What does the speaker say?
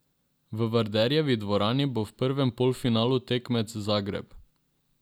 V Vardarjevi dvorani bo v prvem polfinalu tekmec Zagreb.